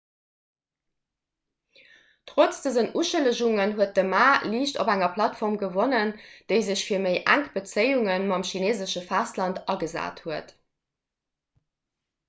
trotz dësen uschëllegungen huet de ma liicht op enger plattform gewonnen déi sech fir méi enk bezéiunge mam chineesesche festland agesat huet